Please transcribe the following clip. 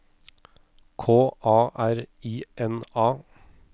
K A R I N A